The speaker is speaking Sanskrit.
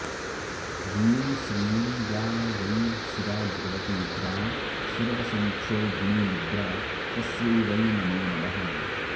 ह्रीं श्रीं या वै शिवा भगवती द्रां सर्वसंक्षोभिणीमुद्रा तस्यै वै नमो नमः